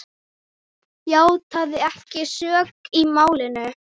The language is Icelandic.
játaði ekki sök í málinu.